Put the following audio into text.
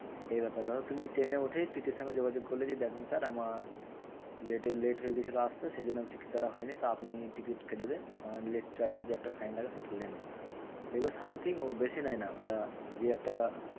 এই ব্যাপার। ধরো তুমি ট্রেনে উঠেই TTE র সঙ্গে যোগাযোগ করলে যে, দেখুন sir আমার late এর late হয়েগেছিলো আসতে সেই জন্য টিকিট কাটা হয়নি। তো আপনি টিকিট কেটে দেন আমার late charge এর যে একটা fine লাগে সেটা নেন। দেখবে something ও বেশি নেয় না ওটা দিয়ে একটা